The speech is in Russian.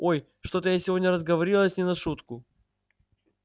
ой что-то я сегодня разговорилась не на шутку